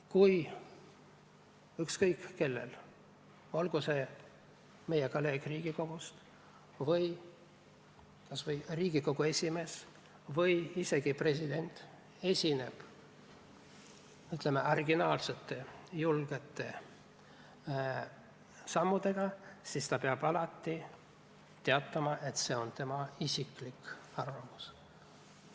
Kui ükskõik kes, olgu see meie kolleeg Riigikogust või Riigikogu esimees või isegi president, esineb originaalsete julgete seisukohavõttudega, siis peab ta alati teatama, et see on tema isiklik arvamus.